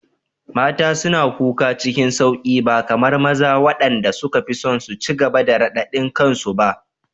Mata suna kuka cikin sauƙi ba kamar maza waɗanda suka fi son su ci gaba da radadin kansu ba.